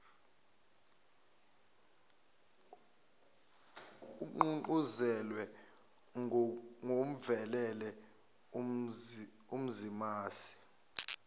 ogqugquzelwe ngokuvelele umzimasi